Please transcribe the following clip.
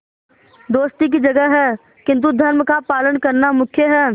दोस्ती की जगह है किंतु धर्म का पालन करना मुख्य है